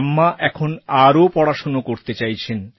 আম্মা এখন আরও পড়াশোনা করতে চাইছেন